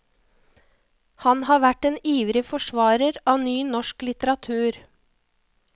Han har vært en ivrig forsvarer av ny norsk litteratur.